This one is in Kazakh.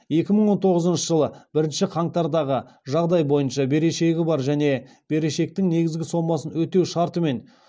екі мың он тоғызыншы жылы бірінші қаңтардағы жағдай бойынша берешегі бар және берешектің негізгі сомасын өтеу шартымен